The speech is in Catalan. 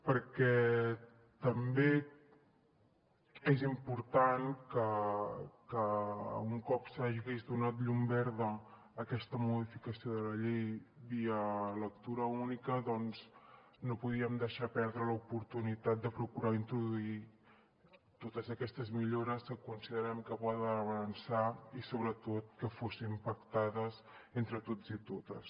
perquè també és important que un cop s’hagués donat llum verda a aquesta modificació de la llei via lectura única doncs no podíem deixar perdre l’oportunitat de procurar introduir totes aquestes millores que considerem que poden fer avançar i sobretot que fossin pactades entre tots i totes